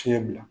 Fiɲɛ bila